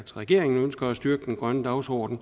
regeringen ønsker at styrke den grønne dagsorden